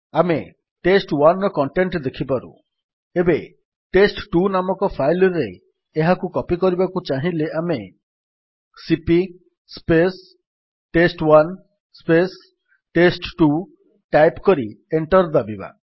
ଆମେ test1ର କଣ୍ଟେଣ୍ଟ୍ ଦେଖିପାରୁ ଏବେ ଟେଷ୍ଟ2 ନାମକ ଫାଇଲ୍ ରେ ଏହାକୁ କପୀ କରିବାକୁ ଚାହିଁଲେ ଆମେ ସିପି ଟେଷ୍ଟ1 ଟେଷ୍ଟ2 ଟାଇପ୍ କରି ଏଣ୍ଟର୍ ଦାବିବା